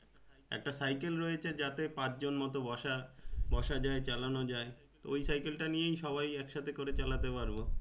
একটা cycle রয়েছে যাতে পাঁচ জন মতন বসা বসা যায় চালানো যায় তো ওই cycle তাই নিয়ে সবাই একসাথে করে চালাতে পারবো